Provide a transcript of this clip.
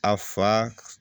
A fa